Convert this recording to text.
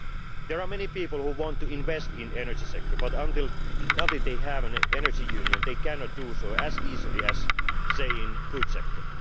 There are many people who want to invest in the energy sector, but until they have an energy union they cannot do so as easily as, say, in the food sector.